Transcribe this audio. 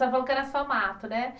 Falou que era só mato, né?